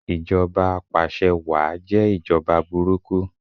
Ìjọba apàse wáà jẹ́ ìjọba burúkú